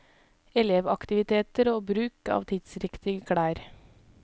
Elevaktiviteter og bruk av tidsriktige klær.